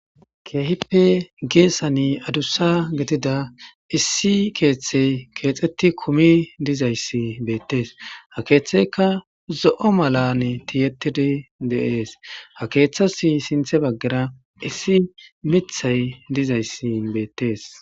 Keehippe geesan adussa gidida issi keeththay keexetti kumi dizaysi beettees ha keeththeyika zo7o mani tiyettidi dees.ha keeththes sinthe baggara miththi dizays beettees.